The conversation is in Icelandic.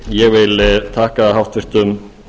ég vi þakka háttvirtum